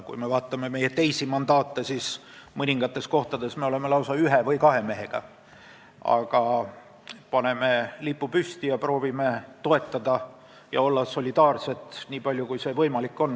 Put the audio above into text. Kui me vaatame teisi mandaate, siis mõningates kohtades me oleme lausa ühe või kahe mehega esindatud, aga paneme ikka lipu püsti ning proovime toetada ja solidaarsed olla, nii palju kui see võimalik on.